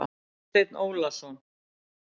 Vésteinn Ólason.